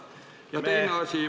Ja teine asi.